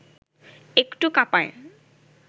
একটু কাঁপায়